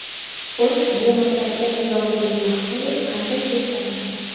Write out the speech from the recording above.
Xo‘sh, bu masalada Nizomiddin Mahmudov qanday yo‘l tanlagan?